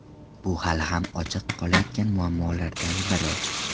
Bu hali ham ochiq qolayotgan muammolardan biri.